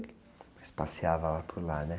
Mas passeava lá por lá, né?